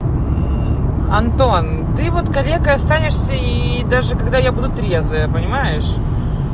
антон ты вот калекой останешься и даже когда я буду трезвая понимаешь